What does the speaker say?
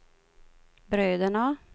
bröderna